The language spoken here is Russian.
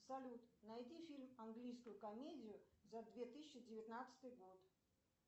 салют найди фильм английскую комедию за две тысячи девятнадцатый год